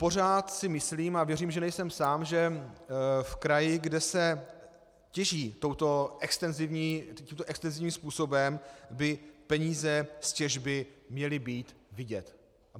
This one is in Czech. Pořád si myslím, a věřím, že nejsem sám, že v kraji, kde se těží tímto extenzivním způsobem, by peníze z těžby měly být vidět.